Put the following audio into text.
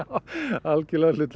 algjörlega hlutlaust